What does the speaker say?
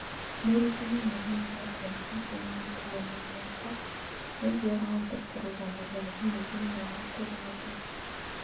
Mũrutani nĩ aheagwo kompiuta ya gũkuua na moko nĩguo ahote kũrũgamĩrĩra thimũ thĩinĩ wa kĩrathi.